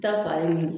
Ta fa ye mun ye